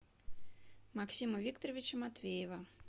максима викторовича матвеева